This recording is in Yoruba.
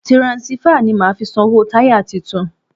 Tiransífà ni màá fi sanwó táyà tuntun.